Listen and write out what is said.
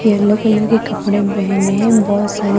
yellow colour के कपड़े पहने हैं बहुत सारे--